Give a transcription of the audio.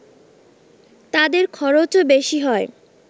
তাদের খরচও বেশি হয়